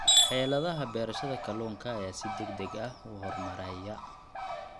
Xeeladaha beerashada kalluunka ayaa si degdeg ah u horumaraya.